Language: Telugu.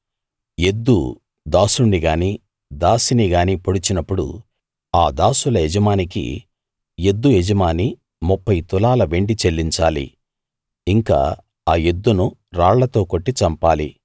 ఎద్దు దాసుణ్ణి గానీ దాసిని గానీ పొడిచినప్పుడు ఆ దాసుల యజమానికి ఎద్దు యజమాని 30 తులాల వెండి చెల్లించాలి ఇంకా ఆ ఎద్దును రాళ్లతో కొట్టి చంపాలి